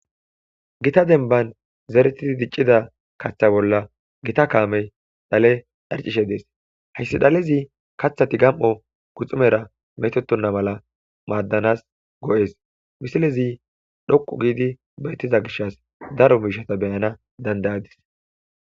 Gita denban zeretidi diccida kaththa bolla gita kaamey dhale dharcishe dees hayssi dhalezi kathati gam7o guxumera metotonna mala maaddanas go7es misilezi dhoqu giidi bayttiza gishas daro miishata beyana dandayadis.